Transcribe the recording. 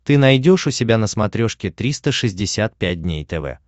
ты найдешь у себя на смотрешке триста шестьдесят пять дней тв